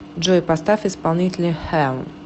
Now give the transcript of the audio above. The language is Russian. джой поставь исполнителя хэон